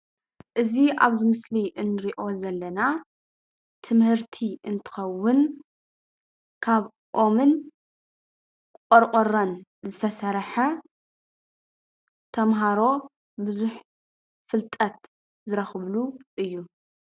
እዚ ኣብዚ ምስሊ እንሪኦ ዘለና ትምህርቲ እንትኸውን ካብ ኦምን ቆርቆሮን ዝተሰርሐ ተመሃሮ ብዙሕ ፍልጠት ዝረኽብሉ እዩ፡፡